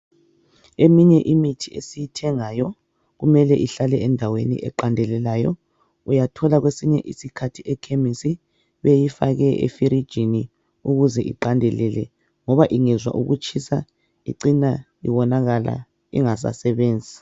Eminye imithi esiyithengayo kumele ihlale endaweni eqandelelayo. Uyathola kwesinye isikhathi ekhemisi beyifake efirijini ukuze iqandelele ngoba ingezwa ukutshisa icina iwonakala ingasasebenzi.